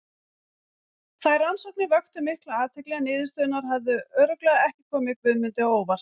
Þær rannsóknir vöktu mikla athygli en niðurstöðurnar hefðu örugglega ekki komið Guðmundi á óvart.